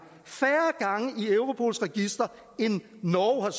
i europols register end norge har